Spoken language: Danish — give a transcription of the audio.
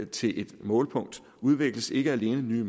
til et målpunkt udvikles ikke alene nye